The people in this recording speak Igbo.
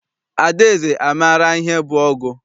Adaeze amaara ihe bụ ọgụ?